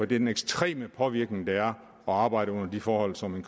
den ekstreme påvirkning det er at arbejde under de forhold som en